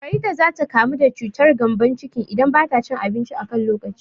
Farida za ta kamu da cutar gƴambon ciki idan bata cin abinci a kan lokaci